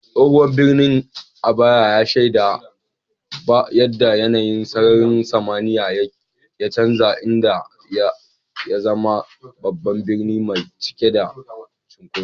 Tsohon birnin Aba ya shaida yadda yanayin sararin samaniya ya canza, inda ya zama babban birni mai cike da cunkoso.